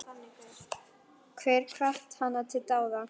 Get hvatt hana til dáða.